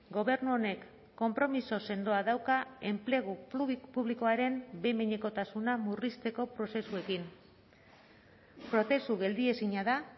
gobernu honek konpromiso sendoa dauka enplegu publikoaren behin behinekotasuna murrizteko prozesuekin prozesu geldiezina da